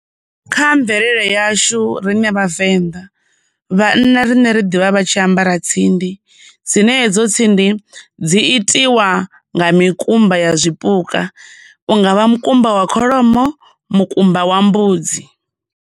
Kha mvelelo yashu rine vhavenḓa, vhanna rine ri ḓivha vha tshi ambara tsindi, dzine hedzo tsindi dzi itiwa nga mikumba ya zwipuka, unga vha mukumba wa kholomo, mukumba wa mbudzi.